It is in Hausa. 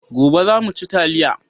Gobe za mu ci taliya